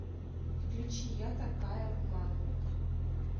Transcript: включи я такая в маму